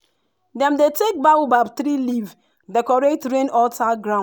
dem dey take baobab tree leaf decorate rain altar ground.